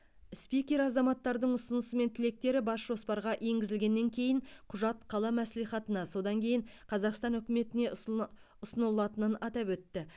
спикер азаматтардың ұсынысы мен тілектері бас жоспарға енгізілгеннен кейін құжат қала мәслихатына содан кейін қазақстан үкіметіне ұсыныла ұсынылатынын атап өтті